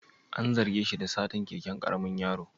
An zarge shi da satar keken karamin yaro?